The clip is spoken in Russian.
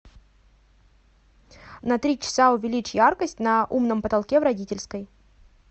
на три часа увеличь яркость на умном потолке в родительской